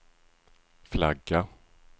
flagga